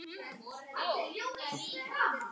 Thomas beygði sig í hnjánum.